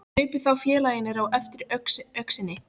Hlupu þá félagarnir á eftir öxinni.